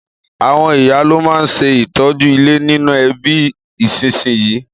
Àwon ìyá lo ma n se ìtọ́jú ilé nínú ẹbí ìsínsinyì